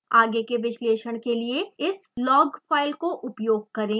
आगे के विश्लेषण के लिए इस log फाइल को उपयोग करें